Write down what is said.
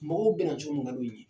Mɔgɔw bɛn cogo min ka di u ye.